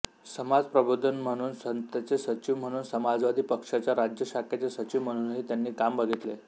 समाज प्रबोधन संस्थेचे सचिव म्हणून व समाजवादी पक्षाच्या राज्य शाखेचे सचिव म्हणूनही त्यांनी काम बघितले